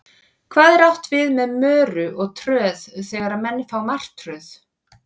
Hvað er átt við með möru og tröð þegar menn fá martröð?